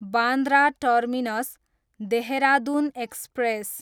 Bandra terminus, Dehradun express